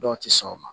Dɔw tɛ sɔn o ma